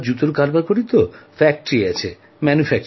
আমরা জুতোর কারবার করি কারখানা আছে জুতো তৈরির